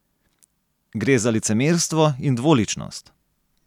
Gre za licemerstvo in dvoličnost.